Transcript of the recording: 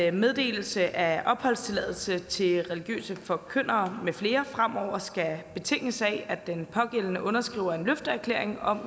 at meddelelse af opholdstilladelse til religiøse forkyndere med flere fremover skal betinges af at den pågældende underskriver en løfteerklæring om